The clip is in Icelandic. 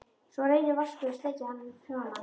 Svo reynir Vaskur að sleikja hann í framan.